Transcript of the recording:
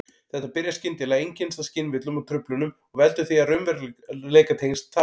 Þetta byrjar skyndilega, einkennist af skynvillum og-truflunum og veldur því að raunveruleikatengsl tapast.